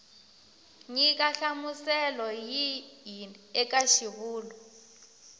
nyika nhlamuselo yihi eka xivulwa